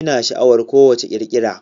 Ina sha'awar ko wacce irin kirkira